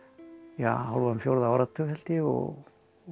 ja hálfan fjórða áratug held ég og